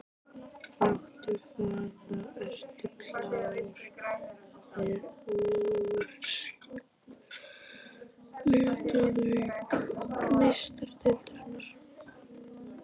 Láttu vaða- Ertu klár fyrir úrslitaleik Meistaradeildarinnar?